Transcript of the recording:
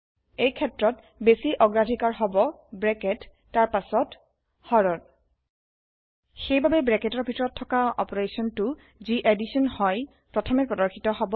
এই ক্ষেত্ৰত বেচি অগ্ৰাধিকাৰ হব ব্ৰেকেত তাৰ পাচত হৰন সেইবাবে ব্ৰেকেতৰ ভিতৰত থকা অপাৰেচনটো যি এডিশ্যন হয় প্ৰথমে প্ৰদৰ্শিত হব